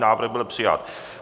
Návrh byl přijat.